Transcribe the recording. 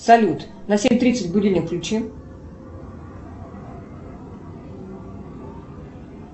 салют на семь тридцать будильник включи